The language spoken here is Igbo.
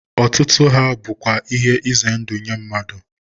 Otutu ha bukwa ihe ize ndu nye mmadu